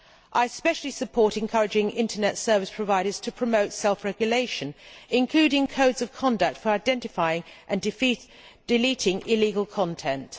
I especially support encouraging internet service providers to promote self regulation, including codes of conduct for identifying and deleting illegal content.